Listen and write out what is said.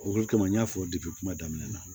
O de kama n y'a fɔ kuma daminɛ na